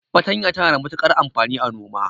Fatanya tana da matukar amfani a noma.